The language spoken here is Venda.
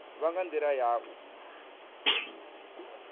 vha nga ndila ya u